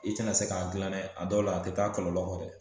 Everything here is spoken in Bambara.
I tɛna se k'a dilan dɛ a dɔw la a tɛ taa kɔlɔlɔ kɔ dɛ